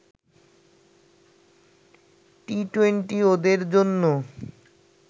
T twenty ওদের জন্য